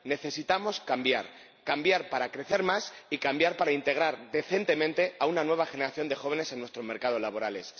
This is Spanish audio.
Necesitamos cambiar, cambiar para crecer más y cambiar para integrar decentemente a una nueva generación de jóvenes en nuestros mercados laborales